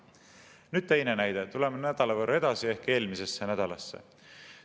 Nüüd teine näide, tuleme nädala võrra edasi ehk eelmisesse nädalasse.